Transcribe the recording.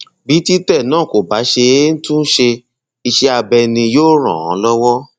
bí títẹ náà kò bá ṣeé tún ṣe iṣẹ abẹ ni yóò ràn án lọwọ